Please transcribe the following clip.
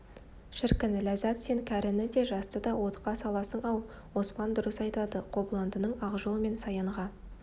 шіркін ләззат сен кәріні де жасты да отқа саласың-ау оспан дұрыс айтады қобыландының ақжол мен саянға